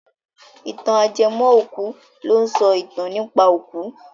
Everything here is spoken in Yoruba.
Ìtàn ajẹmọ́-òkú ló ń sọ ìtàn nípa òkú.